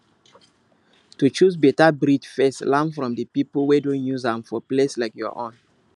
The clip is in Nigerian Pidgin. to choose better breed first learn from people wey don use am for place like your own